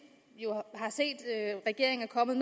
jo har set regeringen er kommet